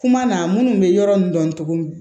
Kuma na munnu bɛ yɔrɔ min dɔn cogo min